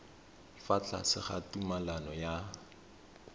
fa tlase ga tumalano ya